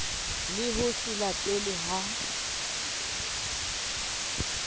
le ho se latelwe ha